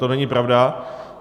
To není pravda.